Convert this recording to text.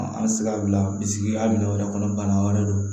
An tɛ se ka bila bisikiya wɛrɛ kɔnɔ bana wɛrɛ don